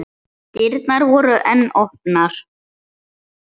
Dyrnar voru enn opnar.